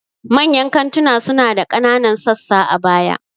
Manyan kantunan suna da ƙananan sassa a baya.